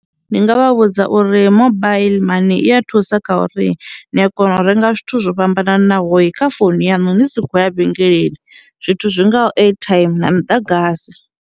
Ndi nga vha vhudza uri mobile money i a thusa kha uri ni a kona u renga zwithu zwo fhambananaho kha founu yaṋu ni si khou ya vhengeleni zwithu zwingaho airtime na muḓagasi.